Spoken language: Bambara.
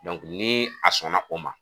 ni a sɔnna o ma.